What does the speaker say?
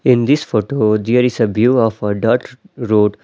In this photo there is a view of a dirt road.